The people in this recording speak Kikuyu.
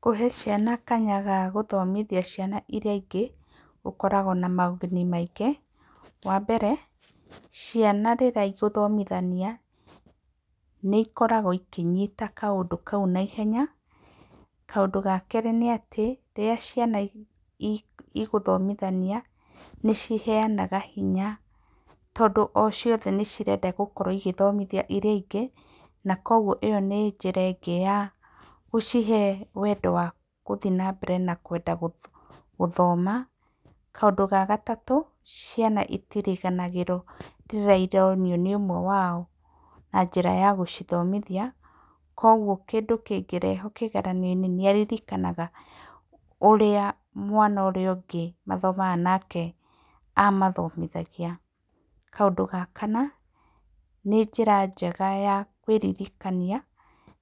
Kũhe ciana kanya ga gũthomithia ciana irĩa ingĩ ũkoragwo na moguni maingĩ. Wa mbere ciana rĩrĩa igũthomithania nĩ ikoragwo ikĩnyita kaũndũ kau naihenya. Kaũndũ ga kerĩ nĩ atĩ, rĩrĩa ciana igũthomithania nĩ ciheanaga hinya tondũ o ciothe nĩ cirenda gũkorwo igĩthomithia irĩa ingĩ na kwoguo ĩyo nĩ njĩra ĩngĩ ya gũcihe wendo wa gũthiĩ na mbere na kwenda gũthoma. Kaũndũ ga gatatũ, ciana itiriganagĩrwo rĩrĩa ironio nĩ ũmwe wao na njĩra ya gũcithomithia. Kwoguo kĩndũ kĩngĩrehwo kĩgerio-inĩ nĩ aririkanaga ũrĩa mwana ũrĩa ũngĩ mathomaga nake amathomithagia. Kaũndũ ga kana, nĩ njĩra njega ya kwĩririkania